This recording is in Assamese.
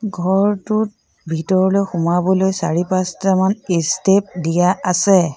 ঘৰটোত ভিতৰলৈ সোমাবলৈ চাৰি পাঁচটামান ষ্টেপ দিয়া আছে।